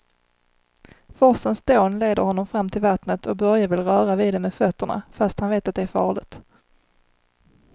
Forsens dån leder honom fram till vattnet och Börje vill röra vid det med fötterna, fast han vet att det är farligt.